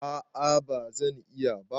A'a ba zan iya ba.